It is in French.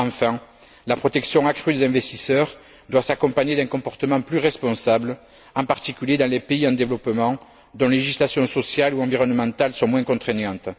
Enfin, la protection accrue des investisseurs doit s'accompagner d'un comportement plus responsable, en particulier dans les pays en développement, dont les législations sociales et environnementales sont moins contraignantes.